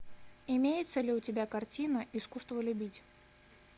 имеется ли у тебя картина искусство любить